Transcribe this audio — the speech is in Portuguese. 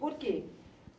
Por quê?